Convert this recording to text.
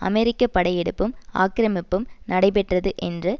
அமெரிக்க படையெடுப்பும் ஆக்கிரமிப்பும் நடைபெற்றது என்று